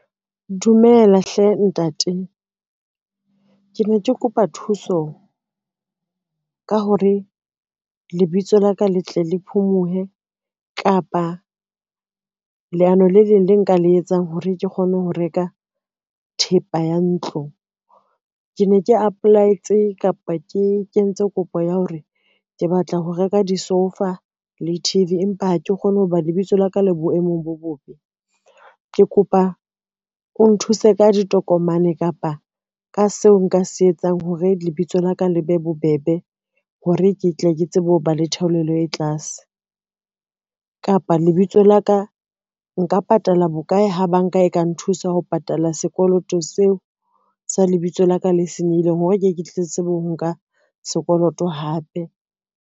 Dumela hle ntate. Ke ne ke kopa thuso ka hore lebitso la ka le tle le phomuhe kapa leano le leng le nka le etsang hore ke kgone ho reka thepa ya ntlo. Ke ne ke apply-etse kapa ke kentse kopo ya hore ke batla ho reka disoufa le T_V, empa ha ke kgone ho ba lebitso la ka le boemong bo bobe, ke kopa o nthuse ka ditokomane kapa ka seo nka se etsang hore lebitso la ka le be bobebe hore, ke tle ke tsebe ho ba le theolelo e tlase. Kapa le bitso la ka nka patala bokae ha banka e ka nthusa ho patala sekoloto seo sa lebitso la ka le senyehileng, hore ke ke tle ke tsebe ho nka sekoloto hape.